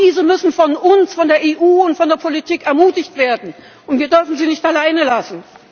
Aber diese müssen von uns von der EU und von der Politik ermutigt werden, wir dürfen sie nicht alleine lassen.